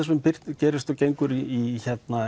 gerist og gengur í